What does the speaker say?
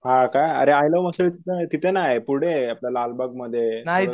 हा का? अरे आय लव्ह मिसळ तिथं नाय पुढे आपलं लालबाग मध्ये